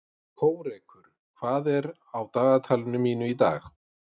Kórekur, hvað er á dagatalinu mínu í dag?